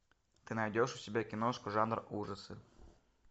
ты найдешь у себя киношку жанр ужасы